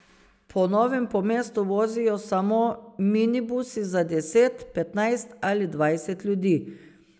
Po novem po mestu vozijo samo minibusi za deset, petnajst ali dvajset ljudi.